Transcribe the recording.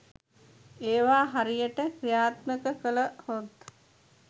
ඒවා හරියට ක්‍රියාත්මක කළ හොත්